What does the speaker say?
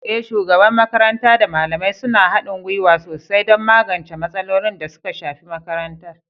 Eh, shugaban makaranta da malamai suna haɗin gwiwa sosai don magance matsalolin da suka shafi makarantar.